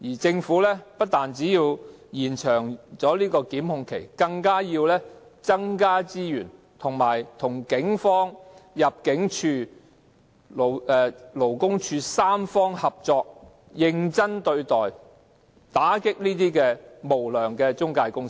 政府不單要延長檢控期，更應增加資源，與警方、香港入境事務處和勞工處三方合作，認真對待問題，打擊無良中介公司。